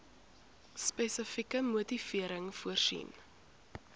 spesifieke motivering voorsien